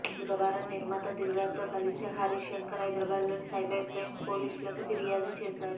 బుధవారం నిర్మాత దిల్ రాజు తో కలసి హరీష్ శంకర్ హైదరాబాద్లోని సైబర్ క్రైం పోలీసులకి ఫిర్యాదు చేశాడు